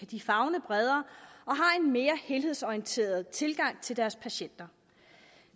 de favne bredere og mere helhedsorienteret tilgang til deres patienter